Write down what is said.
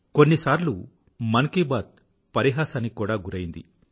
కొన్నిసార్లు మన్ కీ బాత్ పరిహాసానికి కూడా గురైంది